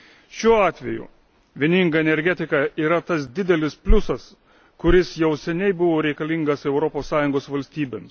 Šiuo atveju bendra energetika yra tas didelis pliusas, kuris jau seniai buvo reikalingas Europos Sąjungos valstybėms.